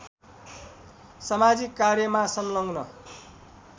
समाजिक कार्यमा संलग्न